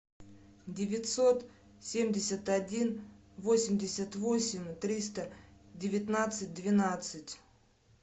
девятьсот семьдесят один восемьдесят восемь триста девятнадцать двенадцать